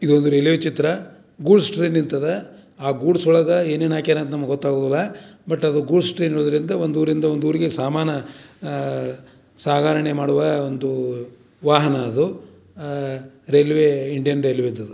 ಇದು ಒಂದು ರೈಲ್ವೆ ಚಿತ್ರ ಗೂಡ್ಸ್ ಟ್ರೈನ್ ನಿಂತಿದೆ ಆ ಗೂಡ್ಸ್ ಒಳಗಡೆ ಏನೇನ ಹಾಕ್ಯಾರ ಅಂತ ನಮಗೆ ಗೊತ್ತಾಗೊದಿಲ್ಲ ಬಟ್‌ ಅದು ಗೂಡ್ಸ್ ಟ್ರೈನ್ ಇರೋದ್ರಿಂದ ಒಂದೂರಿಂದ ಒಂದೂರಿಗೆ ಸಾಮಾನ ಅಹ್ ಸಾಗರಣೆ ಮಾಡುವ ಒಂಧೂ ವಾಹನ ಅದು ಅಹ್‌ ರೈಲ್ವೆ ಇಂಡಿಯನ್ ರೈಲ್ವೆ ಅದು .